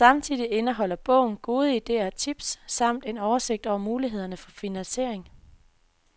Samtidig indeholder bogen gode idéer og tips samt en oversigt over mulighederne for finansiering.